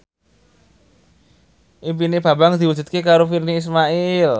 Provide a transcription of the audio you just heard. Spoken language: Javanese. impine Bambang diwujudke karo Virnie Ismail